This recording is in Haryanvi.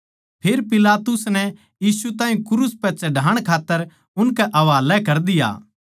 फेर पिलातुस नै यीशु ताहीं क्रूस पै चढ़ाण खात्तर उनकै हवाले कर दिया